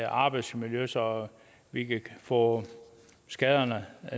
arbejdsmiljø så vi kan få skaderne